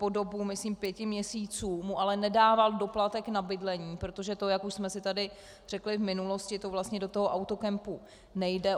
Po dobu, myslím, pěti měsíců mu ale nedával doplatek na bydlení, protože to, jak už jsme si tady řekli v minulosti, to vlastně do toho autokempu nejde.